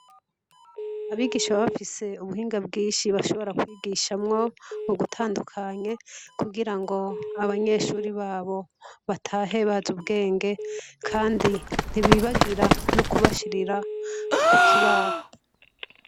Abigisha bafise ubuhinga bwinshi bashobora kwigishamwo bugutandukanye kugira ngo abanyeshuri babo batahe bazi ubwenge, kandi ntibibagira no kubashirira ku kibaho.